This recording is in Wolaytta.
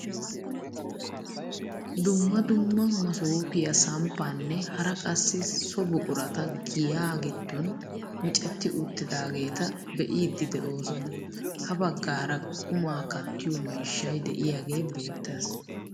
Dumma dumma masoopiyaa samppaanne hara qassi so buqurata giyaa giddon miccetti uttidaageta be'iidi de'oosona. ha baggaara qumaa kattiyoo miishshay de'iyaagee beettees.